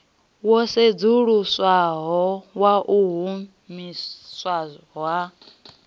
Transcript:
wo sedzuluswaho wau humiswa ha